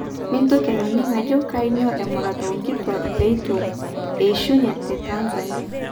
Mintoki anining ajo kanyio emurata onkituak petu eishunye te Tanzania?